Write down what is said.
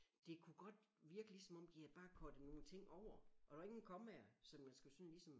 Det kunne godt virke ligesom om de havde bare cuttet nogle ting over og der var ingen kommaer sådan man skulle sådan ligesom